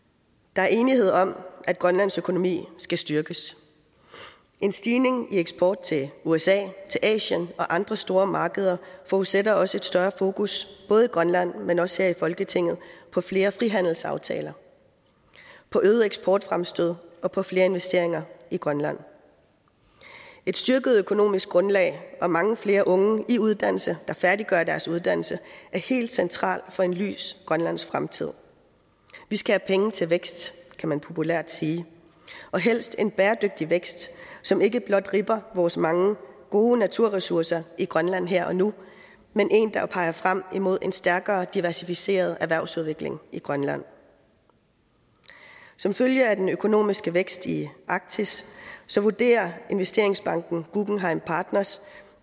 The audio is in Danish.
der er enighed om at grønlands økonomi skal styrkes en stigning i eksport til usa asien og andre store markeder forudsætter også et større fokus både i grønland men også her i folketinget på flere frihandelsaftaler på øgede eksportfremstød og på flere investeringer i grønland et styrket økonomisk grundlag og mange flere unge i uddannelse der færdiggør deres uddannelse er helt centralt for en lys grønlandsk fremtid vi skal have penge til vækst kan man populært sige og helst en bæredygtig vækst som ikke blot ribber vores mange gode naturressourcer i grønland her og nu men en der peger frem mod en stærkere diversificeret erhvervsudvikling i grønland som følge af den økonomiske vækst i arktis vurderer investeringsbanken guggenheim partners